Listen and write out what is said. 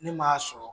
Ne m'a sɔrɔ